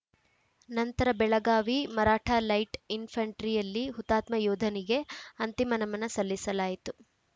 ನಂತರ ಬೆಳಗಾವಿ ಮರಾಠಾ ಲೈಟ್‌ ಇನ್‌ಫೆಂಟ್ರಿಯಲ್ಲಿ ಹುತಾತ್ಮ ಯೋಧನಿಗೆ ಅಂತಿಮ ನಮನ ಸಲ್ಲಿಸಲಾಯಿತು